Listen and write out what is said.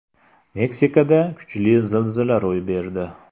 Meksikada kuchli zilzila ro‘y berdi.